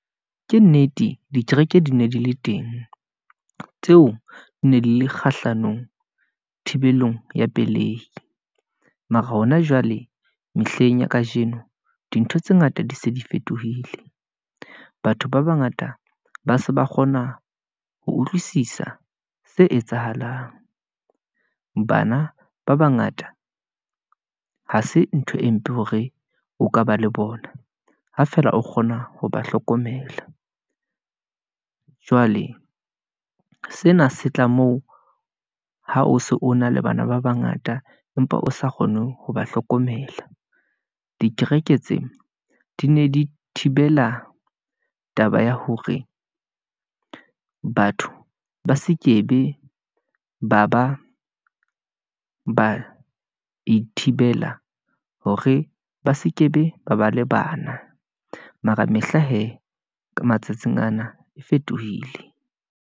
Ke nnete, dikereke di ne di le teng, tseo di ne di le kgahlanong thibelong ya pelehi, mara hona jwale mehleng ya kajeno, dintho tse ngata di se di fetohile. Batho ba bangata ba se ba kgona ho utlwisisa se etsahalang, bana ba bangata ha se ntho e mpe hore o ka ba le bona, ha fela o kgona ho ba hlokomela . Jwale sena se tla moo ha o se o na le bana ba bangata, empa o sa kgone ho ba hlokomela. Dikereke tse di ne di thibela taba ya hore batho ba se ke be ba ithibela, hore ba seke be ba ba le bana, mara mehla hee, ka matsatsing ana e fetohile.